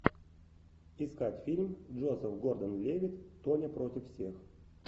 искать фильм джозеф гордон левитт тоня против всех